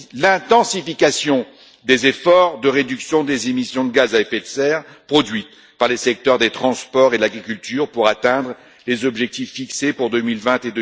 L'intensification des efforts de réduction des émissions de gaz à effet de serre produites par les secteurs des transports et de l'agriculture pour atteindre les objectifs fixés pour 2020